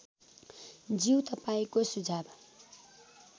ज्यू तपाईँको सुझाव